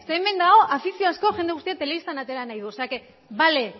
hemen dago afiziozko jende guztia telebistan atera nahi duena o sea que bale